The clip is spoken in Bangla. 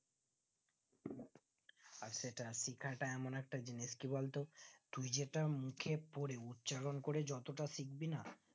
আর সেটা শিক্ষাটা এমন একটা জিনিস কি বলতো তুই যেটা মুখে পড়বি উচ্চারণ করে যতটা শিখবি না